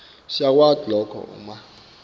siyakwati loku uma